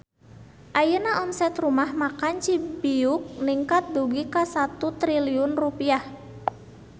Ayeuna omset Rumah Makan Cibiuk ningkat dugi ka 1 triliun rupiah